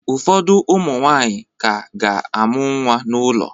Ụfọdụ ụmụ nwanyị ka ga-amụ nwa n'ụlọ